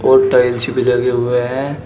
और टाइल्स भी लगे हुए हैं।